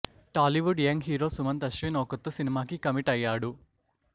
Tollywood young hero Sumanth Ashwin ఓ కొత్త సినిమాకి కమిట్ అయ్యాడు